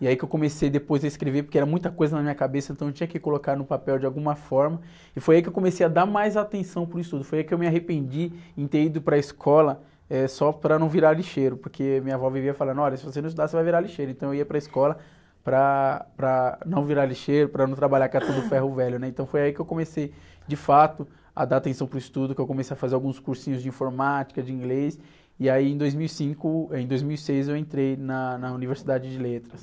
e aí que eu comecei depois a escrever, porque era muita coisa na minha cabeça, então eu tinha que colocar no papel de alguma forma, e foi aí que eu comecei a dar mais atenção para o estudo. Foi aí que eu me arrependi em ter ido para a escola, eh, só para não virar lixeiro, porque minha avó vivia falando, olha, se você não estudar, você vai virar lixeiro. Então, eu ia para a escola para, para não virar lixeiro, para não trabalhar catando ferro velho, né? Então, foi aí que eu comecei, de fato, a dar atenção para o estudo, que eu comecei a fazer alguns cursinhos de informática, de inglês, e aí em dois mil e cinco, eh, em dois mil e seis eu entrei na Universidade de Letras.